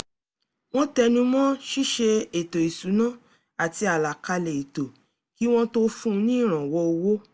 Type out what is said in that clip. wọ́n tẹnu mọ́ ṣíṣe ètò ìṣúná àti àlàkalẹ̀ ètò kí wọ́n tó fún un ní ìrànwọ́ owó